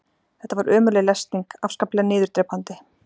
Þetta var ömurleg lesning, afskaplega niðurdrepandi.